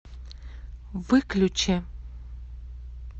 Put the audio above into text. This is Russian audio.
выключи